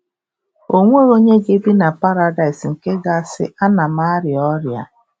Ọ nweghị onye ga-ebi na Paradaịs nke ga-asị, “Ana m arịa ọrịa”